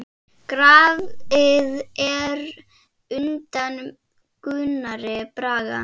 Grafið er undan Gunnari Braga.